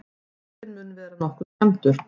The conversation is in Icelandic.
Jeppinn mun vera nokkuð skemmdur